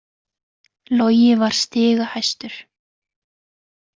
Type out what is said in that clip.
Logi var stigahæstur